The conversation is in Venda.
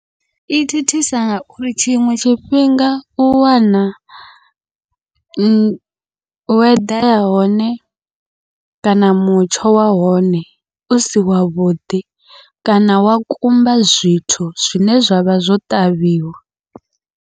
I thithisa ngauri tshiṅwe tshifhinga u wana, wo eḓela hone kana mutsho wa hone usi wavhuḓi kana wa kumba zwithu zwine zwavha zwo ṱavhiwa.